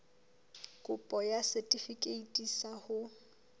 kopo ya setefikeiti sa ho